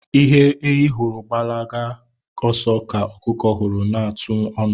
Ihe ehi hụrụ gbalaga ọsọ kà ọkụkọ hụrụ na-atụ ọnụ.